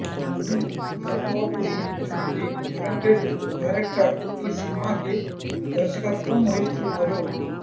హను రాఘవాపుడి లాంటి talented director ఈ సినిమాకి దర్శకత్వం వహిస్తున్నారు